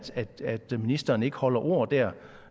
ministeren ikke holder ord der